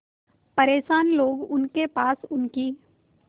परेशान लोग उनके पास उनकी